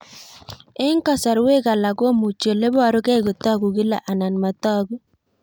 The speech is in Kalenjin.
Eng'kasarwek alak komuchi ole parukei kotag'u kila anan matag'u